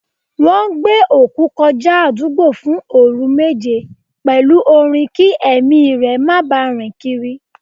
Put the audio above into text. Wọn gbé òkú kọjá àdúgbò fún òru méje pẹ̀lú orin kí ẹ̀mí rẹ má bà rìn kiri.